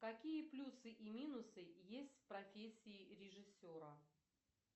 какие плюсы и минусы есть в профессии режиссера